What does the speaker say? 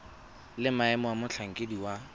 le maemo a motlhankedi wa